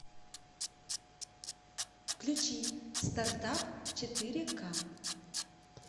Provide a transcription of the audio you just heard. включи старт ап четыре ка